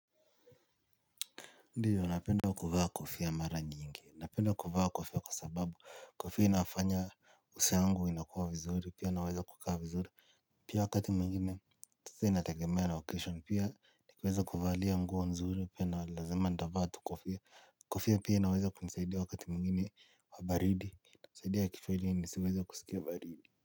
Ndiyo, napenda kuvaa kofia mara nyingi, napenda kuvaa kofia kwa sababu, kofia inafanya uso yangu inakua vizuri, pia naweza kukaa vizuri. Pia wakati mwengine, sasa inategemea location pia, nikiweza kuvalia nguo nzuri, pia ni lazima nitavaa tu kofia. Kofia pia inaweza kunisaidia wakati mwingine wa baridi, inasaidia kichwa ili nisiweze kusikia baridi.